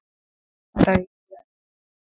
Hvað er ég að gera hér?